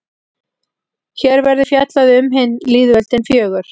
Hér verður fjallað um hin lýðveldin fjögur.